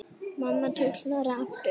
Mamma tók Snorra aftur.